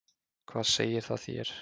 Hvað segir það þér?